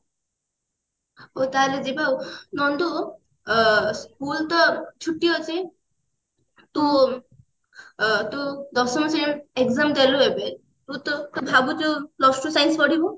ହାଉ ତାହେଲେ ଯିବାଆଉ ନନ୍ଦୁ ଅ school ତ ଛୁଟି ଅଛି ତୁ ଅ ତୁ ଦଶମ ଶ୍ରେଣୀ exam ଦେଲୁ ଏବେ ତୁ ତୁ ଭାବୁଛୁ plus two science ପଢିବୁ